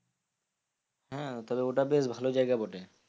হ্যাঁ তাহলে ওটা বেশ ভালো জায়গা বটে।